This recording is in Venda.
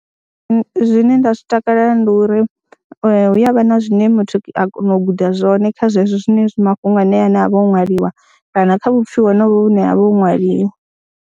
Zwine nda zwi takalela ndi uri hu ya vha na zwine muthu a kona u guda zwone kha zwezwo zwine mafhungo ane a vha o ṅwaliwa kana kha vhupfhiwa honovho vhune ha vha ho ṅwaliwa.